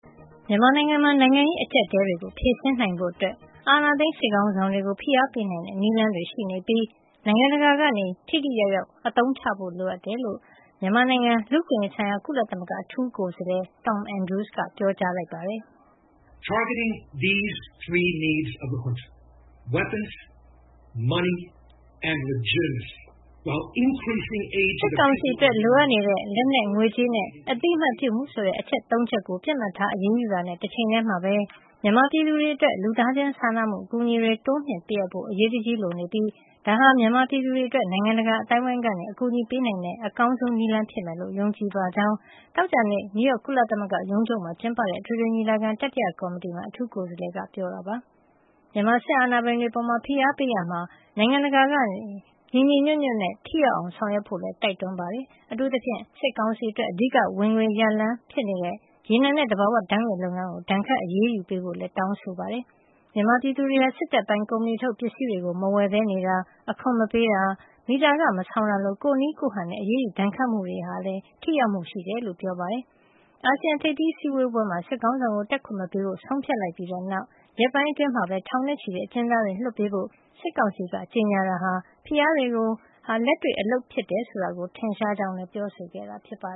မြန်မာနိုင်ငံမှာ နိုင်ငံရေး အကျပ်အတည်းတွေကို ဖြေရှင်းနိုင်ဖို့ အာဏာသိမ်း စစ်ခေါင်းဆောင်တွေကို ဖိအားပေနိုင်တဲ့ နည်းလမ်းတွေ ရှိနေပြီး၊ နိုင်ငံတကာက ထိထိရောက်ရောက် အသုံးချဖို့ လိုတယ်လို့ မြန်မာနိုင်ငံ လူ့အခွင့်ရေးဆိုင်ရာ ကုလသမဂ္ဂ အထူးကိုယ်စားလှယ် Tom Andrews ကပြောလိုက်ပါတယ်။ “စစ်ကောင်စီအတွက် လိုအပ်နေတဲ့ လက်နက်၊ ငွေကြေးနဲ့ အသိမှတ်ပြုမှု ဆိုတဲ့ အချက် ၃ ချက်ကို ပစ်မှတ်ထား အရေးယူတဲ့ တချိန်တည်းမှာပဲ၊ မြန်မာပြည်သူတွေအတွက် လူသားချင်းစာနာမှု အကူအညီတွေ တိုးမြှင့်ပေးအပ်ဖို့ အရေးတကြီး လိုအပ်နေပြီး၊ ဒါဟာ မြန်မာပြည်သူတွေအတွက် နိုင်ငံတကာ အသိုင်းအဝန်းက အကူညီပေးနိုင်တဲ့ အကောင်းဆုံးနည်းလမ်းဖြစ်မယ်လို့ ယုံကြည်ပါတယ်။” သောကြာနေ့က နယူးယောက် ကုလသမဂ္ဂ ရုံးချုပ်မှာ ကျင်းပတဲ့ အထွေထွေညီလာခံ တတိယကော်မတီမှာ မြန်မာနိုင်ငံအရေး တင်ပြရာမှာ အထူးကိုယ်စားလှယ် ပြောဆိုသွားတာပါ။ မြန်မာစစ်အာဏာပိုင်တွေအပေါ် ဖိအားပေးရာမှာ နိုင်ငံတကာ အသိုင်းအဝန်းက ညီညီညွတ်ညွတ်နဲ့ ထိရောက်အောင် ဆောင်ရွက်ဖို့လည်း တိုက်တွန်းခဲ့ပါတယ်။ အထူးသဖြင့် စစ်ကောင်စီအတွက် အဓိက ဝင်ငွေရပေါက်ရလမ်း ဖြစ်နေတဲ့ ရေနံနဲ့ သဘာဝဓါတ်ငွေ့လုပ်ငန်းကို ဒဏ်ခတ်အရေးယူပေးဖို့လည်း တောင်းဆိုခဲ့တာပါ။ မြန်မာပြည်သူတွေ စစ်တပ်ပိုင်ကုမ္ပဏီထုတ် ပစ္စည်းတွေကို မဝယ်ပဲနေတာ၊ အခွန်မပေးတာ၊ မီတာခ မဆောင်တာလို ကိုယ့်နည်းကိုယ်ဟန်နဲ့ အရေးယူ ဒဏ်ခတ်မှုတွေဟာ ထိရောက်မှု ရှိတယ်လို့လည်း ပြောပါတယ်။ မကြာသေးခင်ကပဲ အာဆီယံက ထိပ်သီးအစည်းအဝေးပွဲမှာ စစ်ခေါင်းဆောင်ကို တက်ခွင့်မပေးဖို့ ဆုံးဖြတ်လိုက်ပြီးနောက် ရက်ပိုင်း အတွင်းမှာပဲ ထောင်ချီတဲ့ အကျဉ်းသားတွေ လွှတ်ပေးဖို့ စစ်ကောင်စီက ကြေညာတာဟာ ဖိအားတွေဟာ လက်တွေ့ အလုပ်ဖြစ်တယ်ဆိုတာ ထင်ရှားကြောင်းလည်း ပြောဆိုခဲ့တာပါ